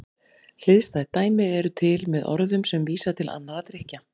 Hliðstæð dæmi eru til með orðum sem vísa til annarra drykkja.